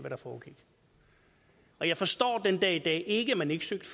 der foregik og jeg forstår den dag i dag ikke at man ikke søgte